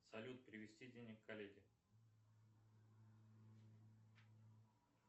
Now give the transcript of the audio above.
салют перевести денег коллеге